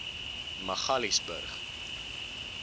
magaliesburg